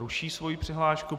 Ruší svoji přihlášku.